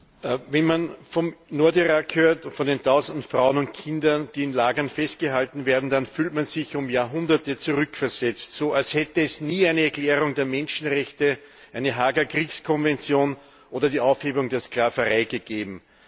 Herr Präsident! Wenn man vom Nordirak hört, von den Tausenden Frauen und Kindern, die in Lagern festgehalten werden, fühlt man sich um Jahrhunderte zurückversetzt, als hätte es nie eine Erklärung der Menschenrechte, eine Haager Kriegskonvention oder die Aufhebung der Sklaverei gegeben.